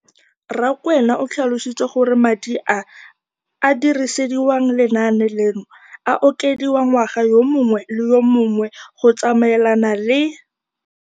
Rakwena o tlhalositse gore madi a a dirisediwang lenaane leno a okediwa ngwaga yo mongwe le yo mongwe go tsamaelana le